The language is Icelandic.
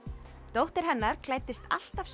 dóttir hennar klæddist alltaf